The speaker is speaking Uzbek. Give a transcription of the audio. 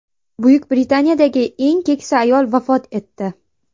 Buyuk Britaniyadagi eng keksa ayol vafot etdi.